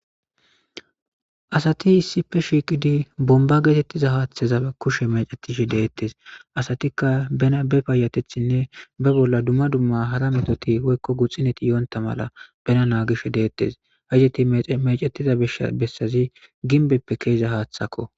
Asati issipe shiqidi bomba getetiza hataza kushe mec'etishe de'etes asatika bena be payatetane be bola duma duma hara metoti woyko guxineti yonta mala bena nagishe de'etes payati mec'eti mec'etiza mishati besazi gimbeppe ke'iza hatako.